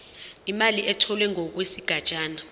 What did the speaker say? imali etholwe ngokwesigatshana